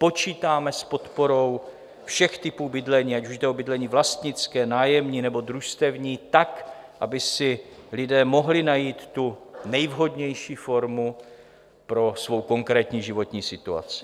Počítáme s podporou všech typů bydlení, ať už jde o bydlení vlastnické, nájemní nebo družstevní tak, aby si lidé mohli najít tu nejvhodnější formu pro svou konkrétní životní situaci.